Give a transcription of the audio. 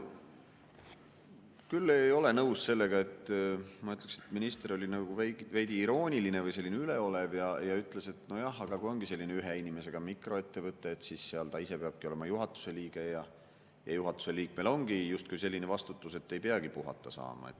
Ma küll ei ole nõus sellega, ma ütleksin, et minister oli nagu veidi irooniline või üleolev ja ütles, et nojah, kui on selline ühe inimesega mikroettevõte, siis seal ta ise peabki olema juhatuse liige ja juhatuse liikmel ongi justkui selline vastutus, ta ei peagi puhata saama.